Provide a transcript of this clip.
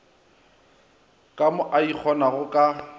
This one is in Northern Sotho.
ka mo a ikgonago ka